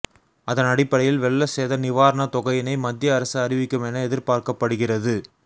அதனடிப்படையில் வெள்ள சேத நிவாரண தொகையினை மத்திய அரசு அறிவிக்கும் என எதிர்பார்க்கப்படுகிறது